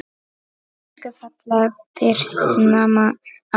Elsku fallega Birna amma mín.